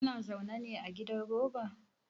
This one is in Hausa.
Kana zaune ne a gidan roba?